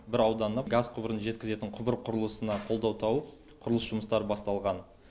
бір ауданына газ құбырын жеткізетін құбыр құрылысына қолдау тауып құрылыс жұмыстары басталған